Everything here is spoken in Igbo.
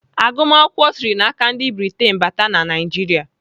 Agụmakwụkwọ sịrị n'aka ndị Britain bata na Naijiria.